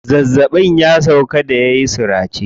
Zazzaɓin ya sauƙa da yayi surace.